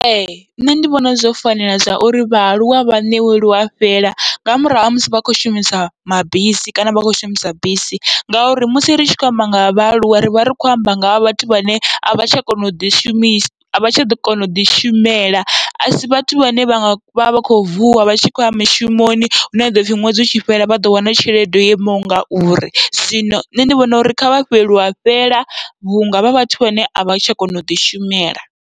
Ee nṋe ndi vhona zwo fanela zwauri vhaaluwa vha ṋewe luafhela, nga murahu ha musi vha khou shumisamabisi kana vha khou shumisa bisi, ngauri musi ri tshi khou amba nga vhaaluwa rivha ri khou amba ngaha vhathu vhane avha tsha kona uḓi shumisa avha tsha ḓo kona uḓi shumela, asi vhathu vhane vha vha vha kho vuwa vha tshi khou ya mishumoni hune ha ḓoupfhi ṅwedzi utshi fhela vha ḓo wana tshelede yo imaho ngauri. Zwino nṋe ndi vhona uri kha vha fhiwe luafhela vhunga vha vhathu vhane avha tsha kona uḓi shumela.